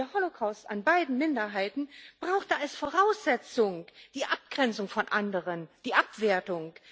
Der Holocaust an beiden Minderheiten brauchte als Voraussetzung die Abgrenzung von anderen, die Abwertung.